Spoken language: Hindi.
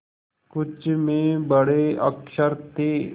कुछ में बड़े अक्षर थे